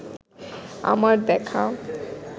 আমার দেখা